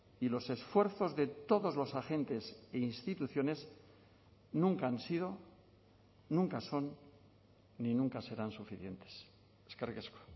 y los esfuerzos de todos los agentes e instituciones nunca han sido nunca son ni nunca serán suficientes eskerrik asko